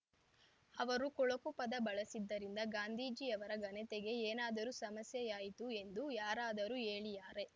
ಅವರು ಕೊಳಕು ಪದ ಬಳಸಿದ್ದರಿಂದ ಗಾಂಧೀಜಿಯವರ ಘನತೆಗೆ ಏನಾದರೂ ಸಮಸ್ಯೆಯಾಯಿತು ಎಂದು ಯಾರಾದರೂ ಹೇಳಿಯಾರೇ